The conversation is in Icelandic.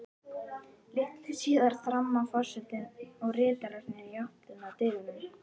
Litlu síðar þramma forsetinn og ritararnir í átt að dyrunum.